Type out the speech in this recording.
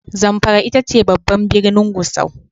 Zamfara ita ce babban birnin Gusau.